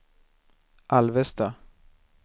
Alvesta